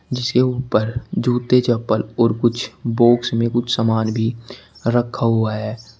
जिसके ऊपर जूते चप्पल और कुछ बॉक्स में कुछ सामान भी रखा हुआ है।